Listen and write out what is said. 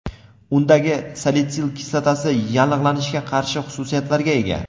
Undagi salitsil kislotasi yallig‘lanishga qarshi xususiyatlarga ega.